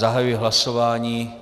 Zahajuji hlasování.